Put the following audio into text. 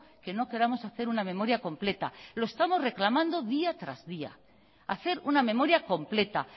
que no queramos hacer una memoria completa lo estamos reclamando día tras día hacer una memoria completa